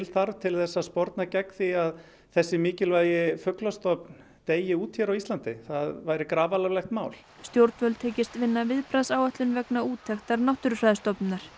þarf til að sporna gegn því að þessi mikilvægi fuglastofn deyi út hér á Íslandi það væri grafalvarlegt mál stjórnvöld hyggist vinna viðbragðsáætlun vegna úttektar Náttúrufræðistofnunar